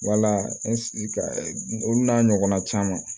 Wala olu n'a ɲɔgɔnna caman